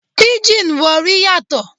Píjìn Warri yàtọ̀.